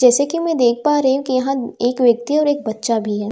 जैसे कि मैं देख पा रही हूं कि यहां एक व्यक्ति और एक बच्चा भी है।